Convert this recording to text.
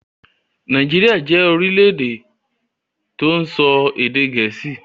Nàìjíríà jẹ orílẹ̀-èdè tó ń sọ èdè Gẹẹsi